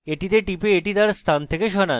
এটিতে টিপুন এবং এটি তার স্থান থেকে সরান